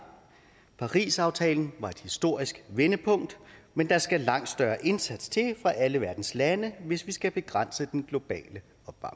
parisaftalen var et historisk vendepunkt men der skal langt større indsats til fra alle verdens lande hvis vi skal begrænse den globale